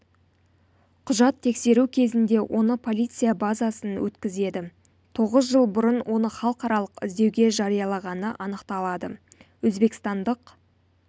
құжат тексеру кезінде оны полиция базасын өткізеді тоғыз жыл бұрын оны халықаралық іздеуге жариялағаны анықталады өзбекстандық